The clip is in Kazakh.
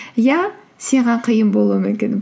иә саған қиын болуы мүмкін